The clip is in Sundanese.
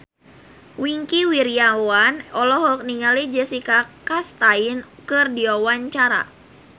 Wingky Wiryawan olohok ningali Jessica Chastain keur diwawancara